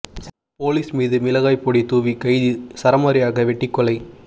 police மீது மிளகாய் பொடி தூவி கைதி சரமாரியாக வெட்டிக் கொலை